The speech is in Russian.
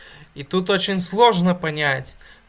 и тут очень сложно понять